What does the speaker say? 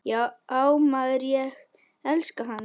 Já maður, ég elska hann.